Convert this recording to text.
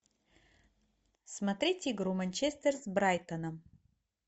смотреть игру манчестер с брайтоном